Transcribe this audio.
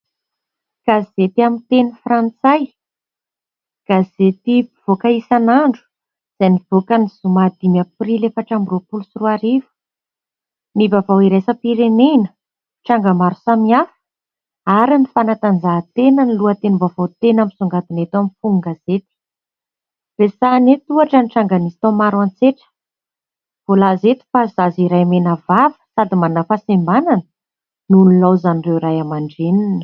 Gazety amin'ny teny frantsay, gazety mpivoaka isan'andro izay nivoaka ny zoma dimy aprily efatra amby roapolo sy roa arivo. Ny vaovao iraisam-pirenena, ny tranga maro samihafa ary ny fanatanjahantena no lohatenim-baovao tena misongadina eto amin'ny fonon-gazety. Resahana eto ohatra ny tranga nisy tao Maroantsetra. Voalaza eto fa zaza iray mena vava sady manana fahasembanana no nilaozan'ireo ray aman-dreniny.